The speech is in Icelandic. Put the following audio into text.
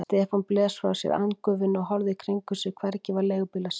Stefán blés frá sér andgufunni og horfði í kringum sig, hvergi var leigubíl að sjá.